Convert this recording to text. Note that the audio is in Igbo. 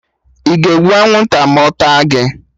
Ị ga-egbu anwụnta ma ọ taa gị?